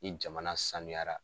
Ni jamana sanuyara